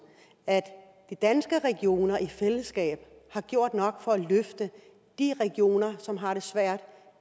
at de danske regioner i fællesskab har gjort nok for at løfte de regioner som har det svært